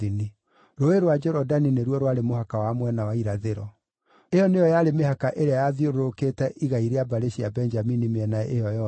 Rũũĩ rwa Jorodani nĩruo rwarĩ mũhaka wa mwena wa irathĩro. Ĩyo nĩyo yarĩ mĩhaka ĩrĩa yathiũrũrũkĩte igai rĩa mbarĩ cia Benjamini mĩena ĩyo yothe.